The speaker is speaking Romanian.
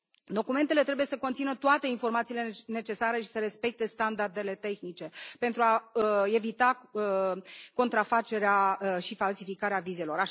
Documentele trebuie să conțină toate informațiile necesare și să respecte standardele tehnice pentru a evita contrafacerea și falsificarea vizelor.